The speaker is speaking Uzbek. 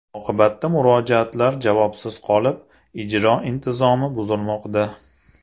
Oqibatda murojaatlar javobsiz qolib, ijro intizomi buzilmoqda.